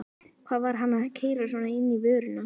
Hvað var hann að keyra svona inn í vörnina?